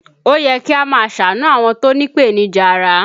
Ó yẹ kí a máa ṣàánú àwọn tó ní ipenija ara